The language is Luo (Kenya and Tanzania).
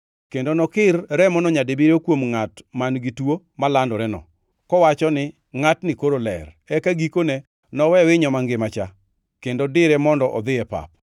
Kendo nokir remono nyadibiriyo kuom ngʼat man-gi tuo malandoreno, kowachoni ngʼatni koro ler, eka gikone nowe winyo mangima-cha kendo dire mondo odhi e pap.